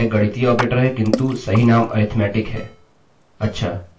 अच्छा यह दो से गुणा करने जा रहा है